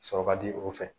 Sɔrɔ ka di o fɛ